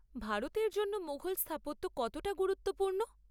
ভারতের জন্য মুঘল স্থাপত্য কতটা গুরুত্বপূর্ণ?